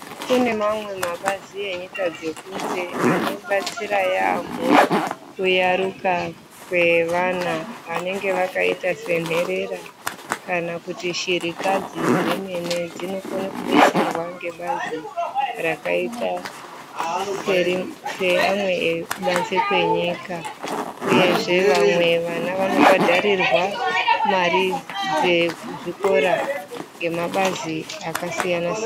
Kune mamwe mabazi enyika dzekunze anobatsira yaamho kuyaruka kwevana vanenge vakaita senherera kana kuti shirikadzi zvemene dzinokone kubetserwa ngebazi rakaita seamwe ekubanze kwenyika uyezve vamwe vana vanobhadharirwa mari dzezvikora ngemabazi akasiya_siyana.